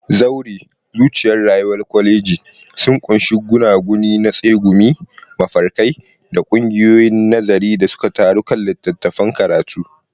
Zaure, zuciyar rayuwar koleji, sun ƙunshi gunaguni na tsegumi, mafarkai, da ƙungiyoyin nazari da suka taru kan littattafan karatu.